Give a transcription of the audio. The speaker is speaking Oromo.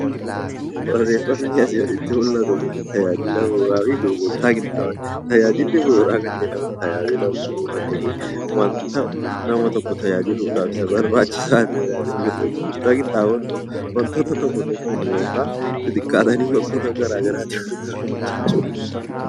Barreeffamni asii gaditti mul'atu Kun tajaajila bu'uuraa fi gurgurtaa qinxaanboo jedha. Tajaajilli bu'uuraa nama tokko tajaajiluudhaaf Isa barbaachisaa ta'edha. Tajaajilli qinxaanboo immoo wantoota tokko tokko xixiqqaatanii bakkoota garaagaraa jiran jechuudha